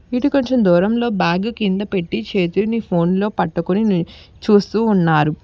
ఇటు కొంచెం దూరం లో బ్యాగు కింద పెట్టి చేతిని ఫోన్ లో పట్టుకొని చూస్తూ ఉన్నారు.